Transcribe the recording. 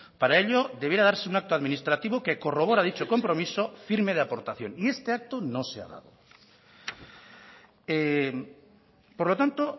para ello debiera darse un acto administrativo que corrobora dicho compromiso firme de aportación y este acto no se ha dado por lo tanto